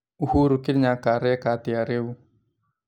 Uhuru Kenyatta areka atĩa rĩu